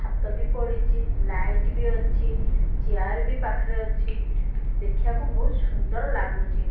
ହାତ ବି ପଡ଼ିଚି ଲାଇଟ୍ ବି ଅଛି ଚିଆର ବି ପାଖରେ ଅଛି ଦେଖିବାକୁ ବହୁତ୍ ସୁନ୍ଦର୍ ଲାଗୁଚି।